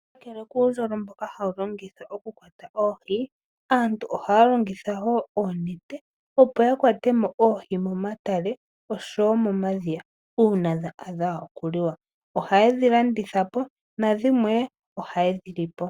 Kakele kuundojolo mboka hawu longithwa oku kwata oohi aantu ohaya longitha wo oonete opo ya kwate mo oohi momatale noshowo momadhiya uuna dha adha okuliwa, ohaye dhi landitha po na dhimwe ohaye dhi li po.